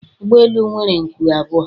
Ụgbọ elu nwere nku abụọ